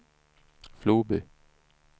Floby